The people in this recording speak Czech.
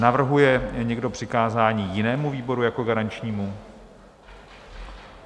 Navrhuje někdo přikázání jinému výboru jako garančnímu?